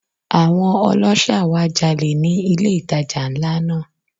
Àwọn ọlọ́ṣà wá jalè ni ilé ìtajà ńlá náà.